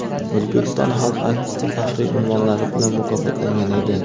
"O‘zbekiston xalq artisti" faxriy unvonlari bilan mukofotlangan edi.